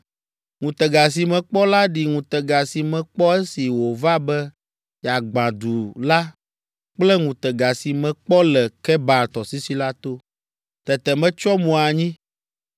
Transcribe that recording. Ŋutega si mekpɔ la ɖi ŋutega si mekpɔ esi wòva be yeagbã du la kple ŋutega si mekpɔ le Kebar tɔsisi la to. Tete metsyɔ mo anyi.